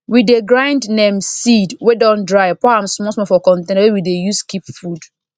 we dey grind neem seed wey don dry pour am small small for container wey we dey use keep food